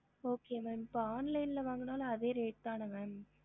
ஹம்